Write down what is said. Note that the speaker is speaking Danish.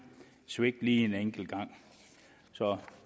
svigte en enkelt gang så